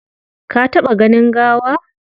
Ka taɓa ganin gawa?